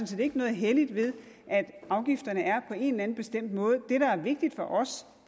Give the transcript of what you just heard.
set ikke noget helligt ved at afgifterne er på en eller anden bestemt måde det der er vigtigt for os